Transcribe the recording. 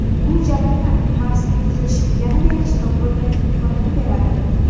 Bu jarayonlar Marsning tuzilishini yanada yaxshiroq o‘rganish imkonini beradi.